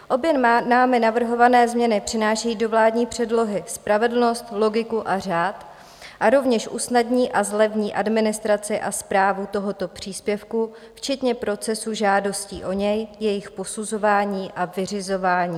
Obě námi navrhované změny přinášejí do vládní předlohy spravedlnost, logiku a řád a rovněž usnadní a zlevní administraci a správu tohoto příspěvku včetně procesu žádostí o něj, jejich posuzování a vyřizování.